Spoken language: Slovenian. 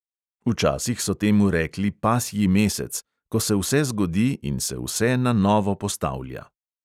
Včasih so temu rekli pasji mesec, ko se vse zgodi in se vse na novo postavlja.